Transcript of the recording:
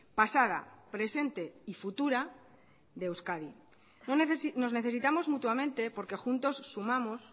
pasada presente y futura de euskadi nos necesitamos mutuamente porque juntos sumamos